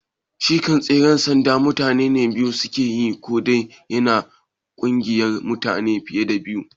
Shi kam tseren sanda mutane biyu suke yi ko dai yana kunsar mutane fiye da biyu?